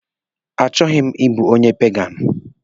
Achọghị ịbụ onye peganụ.